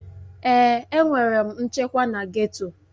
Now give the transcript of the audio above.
Èè, enwere m nchekwa na geto.